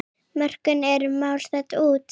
Mörkin eru að mást út.